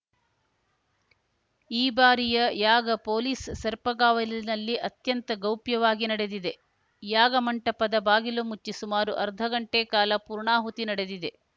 ಈ ಬಾರಿಯ ಯಾಗ ಪೊಲೀಸ್‌ ಸರ್ಪಗಾವಲಿನಲ್ಲಿ ಅತ್ಯಂತ ಗೌಪ್ಯವಾಗಿ ನಡೆದಿದೆ ಯಾಗ ಮಂಟಪದ ಬಾಗಿಲು ಮುಚ್ಚಿ ಸುಮಾರು ಅರ್ಧ ಗಂಟೆ ಕಾಲ ಪೂರ್ಣಾಹುತಿ ನಡೆದಿದೆ